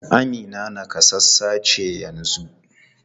Amina nakasassa ce yanzu?